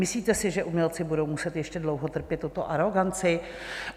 Myslíte si, že umělci budou muset ještě dlouho trpět tuto aroganci?